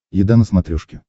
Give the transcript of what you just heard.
еда на смотрешке